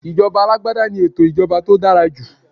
Ijoba alagbada ni eto ìṣèjọba tó dára jù